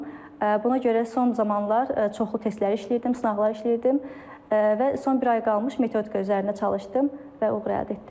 Buna görə son zamanlar çoxlu testləri işləyirdim, sınaqlar işləyirdim və son bir ay qalmış metodika üzərində çalışdım və uğur əldə etdim.